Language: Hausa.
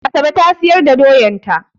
Asabe ta siyar da doyan ta.